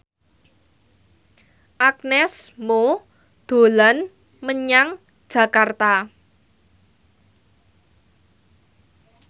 Agnes Mo dolan menyang Jakarta